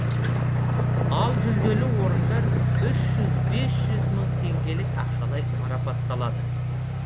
ал жүлделі орындар үш жүз бес жүз мың теңгелік ақшалай марапатталады